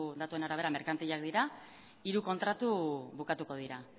datuen arabera merkantilak dira hiru kontratu bukatuko dira